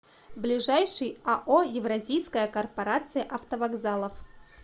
ближайший ао евразийская корпорация автовокзалов